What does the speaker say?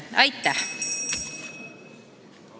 Aitäh!